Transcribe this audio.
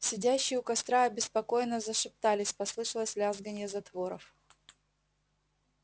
сидящие у костра обеспокоенно зашептались послышалось лязганье затворов